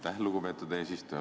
Aitäh, lugupeetud eesistuja!